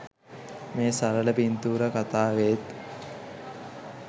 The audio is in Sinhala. මේ සරල පින්තූර කතාවේත්